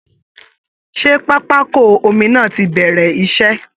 Ṣé pápákọ omi náà ti bẹ̀rẹ̀ iṣẹ́?